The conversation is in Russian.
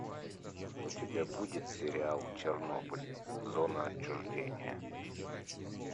у тебя будет сериал чернобыль зона отчуждения